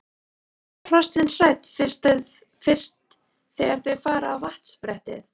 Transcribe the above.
En verða hrossin hrædd fyrst þegar þau fara á vatnsbrettið?